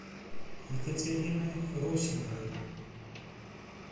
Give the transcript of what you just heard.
екатерины русиновой